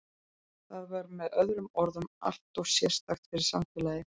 Það var með öðrum orðum alltof sérstakt fyrir samfélagið.